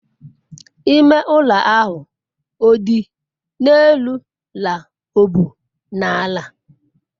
ime ulo ahu o di n'elu la o bu n'ala?